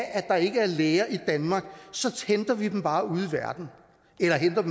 at der ikke er læger i danmark så henter vi dem bare ude